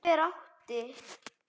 Hver átti?